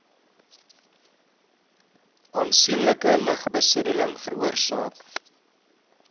aansienlike lugbesoedeling veroorsaak